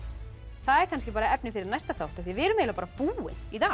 það er kannski efni fyrir næsta þátt því við erum eiginlega bara búin í dag